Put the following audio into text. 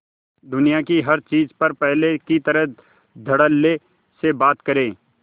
दुनिया की हर चीज पर पहले की तरह धडल्ले से बात करे